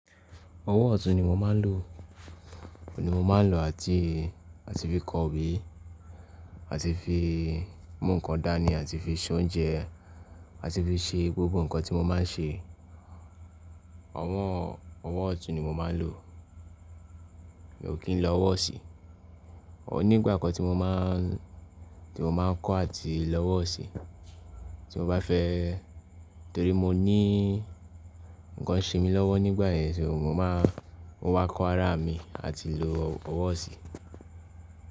Ọwọ́ ọ̀tún ni mo máa ń lò, òun ni mo máa ń lò àti, àti fi kọ wí, àti fi mú nǹkan dání, àti fi se oúnjẹ àti fi ṣe gbogbo nǹkan tí mo máa ń ṣe. Ọwọ́, ọwọ́ ọ̀tún ni mo máa ń lò, èmi ò kí ń lọ ọwọ́ ọ̀sẹ̀. Òun nígbà kan tí mo máa ń, tí mo máa ń kọ́ àti lọ ọwọ́ ọ̀sẹ̀ tí mo bá fẹ́ torí mo ní nǹkan ń ṣe mi lọ́wọ́ nígbà yẹn, so mo máa mọ wá kọ ara mi àti lo ọwọ́ ọ̀sẹ̀.